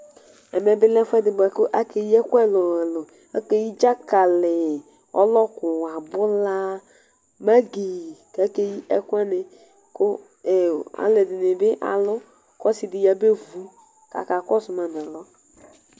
Ɛmɛ bi lɛ ɛfʋedi bʋakʋ akeyi ɛkʋ ɛlʋ ɛlʋ ɛlʋ akeyi dakali ɔlɔkʋ abʋla magi kʋ akeyi ɛkʋ wani kʋ alʋ ɛdini bi alʋ kʋ ɔsi dini bi yabevʋ kʋ aka kɔsʋma nʋ alɔ